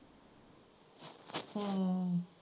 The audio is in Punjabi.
ਹਮ